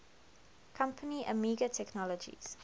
company amiga technologies